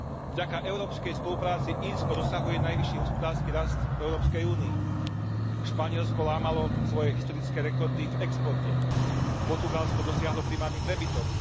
Vďaka európskej spolupráci Írsko dosahuje najvyšší hospodársky rast v Európskej únii, Španielsko lámalo svoje historické rekordy v exporte, Portugalsko dosiahlo primárny prebytok.